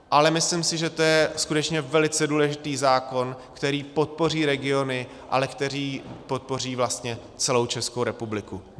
Ale myslím si, že je to skutečně velice důležitý zákon, který podpoří regiony, ale který podpoří vlastně celou Českou republiku.